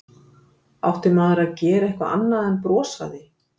Átti maður að gera eitthvað annað en að brosa að því?